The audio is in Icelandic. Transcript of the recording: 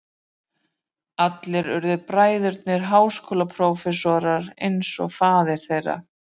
Allir urðu bræðurnir háskólaprófessorar eins og faðir þeirra.